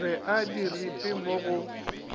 be a diripe mo go